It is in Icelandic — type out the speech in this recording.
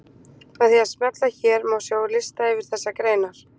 Með því að smella hér má sjá lista yfir þessar greinar.